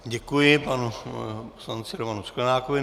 Děkuji panu poslanci Romanu Sklenákovi.